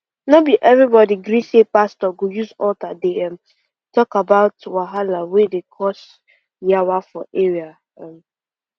no be everybody gree say pastor go use altar dey um talk about wahala wey dey cause yawa for area um